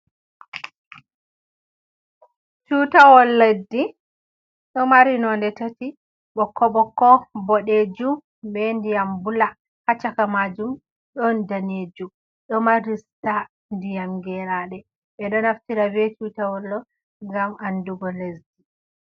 Tutawol leddi ɗo mari nonde tati bokko bokko bodejum be ndiyam bula, ha caka majum ɗon danejum ɗo mari star ndiyam gerade ɓe ɗo naftira be tutawoll on ngam andugo lesdi.